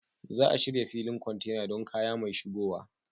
Za a shirya filin kwantena don kaya mai shigowa.